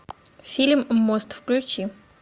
фильм мост включи